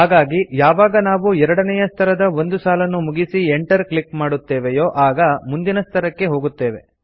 ಹಾಗಾಗಿ ಯಾವಾಗ ನಾವು ಎರಡನೇಯ ಸ್ತರದ ಒಂದು ಸಾಲನ್ನು ಮುಗಿಸಿ Enter ಕ್ಲಿಕ್ ಮಾಡುತ್ತೇವೆಯೋ ಆಗ ಮುಂದಿನ ಸ್ತರಕ್ಕೆ ಹೋಗುತ್ತೇವೆ